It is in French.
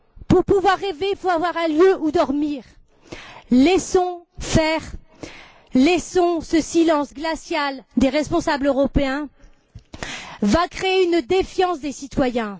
Pour pouvoir rêver, il faut avoir un lieu où dormir. Si nous laissons faire, ce silence glacial des responsables européens va créer une défiance des citoyens.